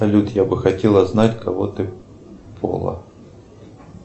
салют я бы хотела знать какого ты пола